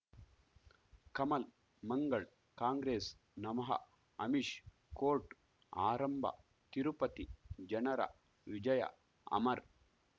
ಕಮಲ್ ಮಂಗಳ್ ಕಾಂಗ್ರೆಸ್ ನಮಃ ಅಮಿಷ್ ಕೋರ್ಟ್ ಆರಂಭ ತಿರುಪತಿ ಜನರ ವಿಜಯ ಅಮರ್